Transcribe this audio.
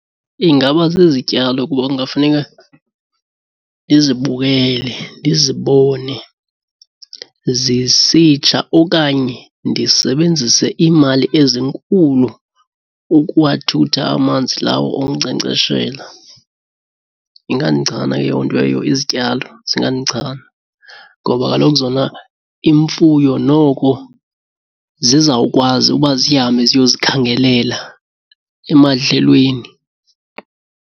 Ingaba zizityalo kuba kungafuneka ndizibukele, ndizibone zisitsha okanye ndisebenzise imali ezinkulu ukuwathutha amanzi lawo okunkcenkceshela. Ingandichana eyo nto eyo, izityalo zingandichana ngoba kaloku zona imfuyo noko zizawukwazi uba zihambe ziyozikhangelela emadlelweni.